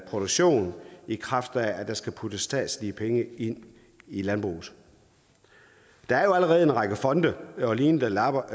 produktion i kraft af at der skal puttes statslige penge ind i landbruget der er allerede en række fonde og lignende der lapper